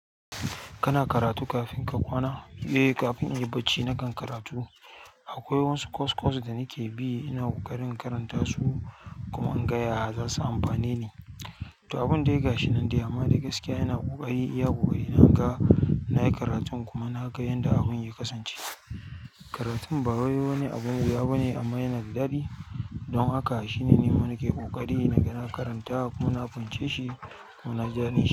Kana karatu kafin ka kwana? Eh, kafin in yi barci na kan karatu. Akwai wasu course course da nake bi, ina ƙoƙarin karanta su kuma inga yaya za su amfane ni. To, abin de gashi nan de amma de gaskiya yana ƙoƙari iya ƙoƙari na ga na yi karatun kuma na ga yadda abun ya kasance. Karatun bawai wani abun wuya bane amma yana da daɗi. Don haka shine nima nike ƙoƙari naga na karanta kuma na fahimce shi kuma naji daɗin shi.